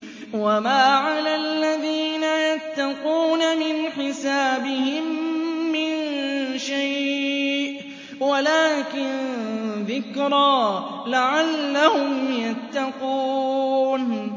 وَمَا عَلَى الَّذِينَ يَتَّقُونَ مِنْ حِسَابِهِم مِّن شَيْءٍ وَلَٰكِن ذِكْرَىٰ لَعَلَّهُمْ يَتَّقُونَ